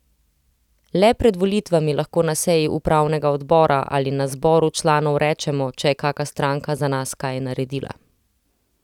Le pred volitvami lahko na seji upravnega odbora ali na zboru članov rečemo, če je kaka stranka za nas kaj naredila.